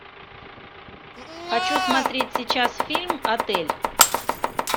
хочу смотреть сейчас фильм отель